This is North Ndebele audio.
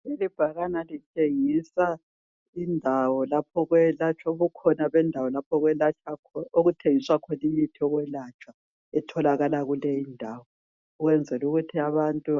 Kulebhakane litshengisa indawo lapho Okwelatshwa khona lapho okuthengiswa Khona imithi yokwelatshwa etholakala kuleyindawo ukwenzelukuthi abantu